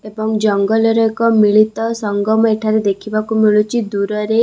ଏବଂ ଜଙ୍ଗଲରେ ଏକ ମିଳିତ ସଂଗମ ଏଠାରେ ଦେଖିବାକୁ ମିଳୁଛି ଦୂରରେ ।